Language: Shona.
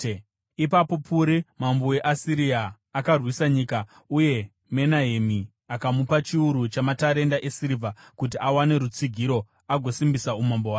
Ipapo Puri mambo weAsiria akarwisa nyika, uye Menahemi akamupa chiuru chamatarenda esirivha, kuti awane rutsigiro agosimbisa umambo hwake.